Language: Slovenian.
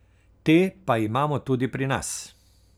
Te pa imamo tudi pri nas.